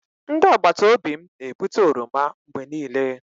Ndị agbata obi m na-ebute oroma mgbe niile.